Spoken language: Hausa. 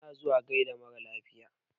Ana zuwa gaida marar lafiya.